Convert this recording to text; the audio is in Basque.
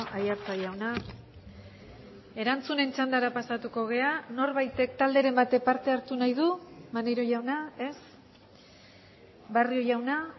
aiartza jauna erantzunen txandara pasatuko gara norbaitek talderen batek parte hartu nahi du maneiro jauna ez barrio jauna